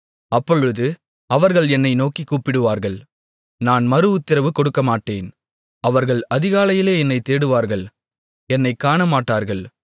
அப்பொழுது அவர்கள் என்னை நோக்கிக் கூப்பிடுவார்கள் நான் மறுஉத்திரவு கொடுக்கமாட்டேன் அவர்கள் அதிகாலையிலே என்னைத் தேடுவார்கள் என்னைக் காணமாட்டார்கள்